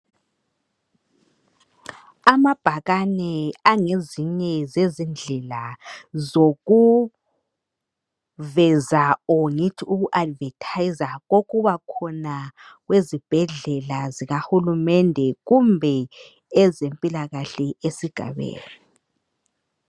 Amabhakane angezinye zezindlela zoku....veza or ngithi ukuAdvertiser okubakhona kwezibhedlela zikahulumende kumbe ezempilakahle ezigabeni.